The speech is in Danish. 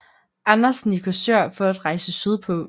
Andersen i Korsør for at rejse sydpå